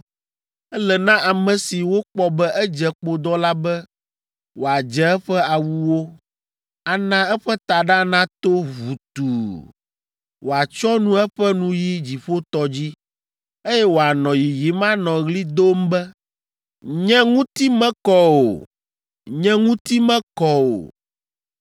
“Ele na ame si wokpɔ be edze kpodɔ la be wòadze eƒe awuwo, ana eƒe taɖa nato ʋutuu, wòatsyɔ nu eƒe nuyi dziƒotɔ dzi, eye wòanɔ yiyim anɔ ɣli dom be, ‘Nye ŋuti mekɔ o, nye ŋuti mekɔ o!’